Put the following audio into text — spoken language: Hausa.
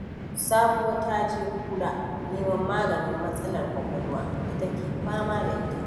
Sabuwa ta je Kura neman maganin matsalar ƙwaƙwalwa da take fama da ita.